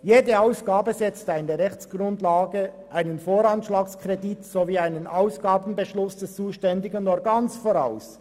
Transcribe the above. «Jede Ausgabe setzt eine Rechtsgrundlage, einen Voranschlagskredit sowie einen Ausgabenbeschluss des zuständigen Organs voraus.